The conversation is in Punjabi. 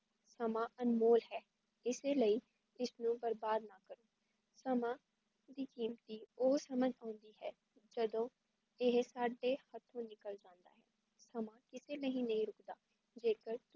ਸਮਾਂ ਅਨਮੋਲ ਹੈ ਇਸਲਈ ਇਸ ਨੂੰ ਬਰਬਾਦ ਨਾ ਕਰੋ, ਸਮਾਂ ਬੜੀ ਕੀਮਤੀ ਓ ਸਮਝ ਹੁੰਦੀ ਜਦੋਂ ਏਹ ਸਾਡੇ ਹੱਥੋਂ ਨਿਕਲ ਜਾਂਦੀ ਹੈ ਸਮਾਂ ਕਿਸੇ ਦੇ ਲਈ ਨਹੀਂ ਰੁਕਦਾ ਜੇ ਕਰ